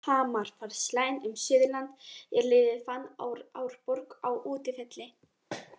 Hamar vann slaginn um Suðurland er liðið vann Árborg á útivelli.